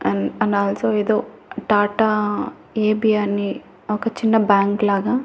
an and also ఏదో Tata AP అని ఒక చిన్న బ్యాంక్ లాగా--